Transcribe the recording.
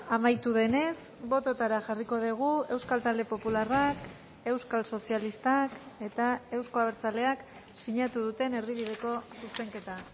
amaitu denez bototara jarriko dugu euskal talde popularrak euskal sozialistak eta euzko abertzaleak sinatu duten erdibideko zuzenketa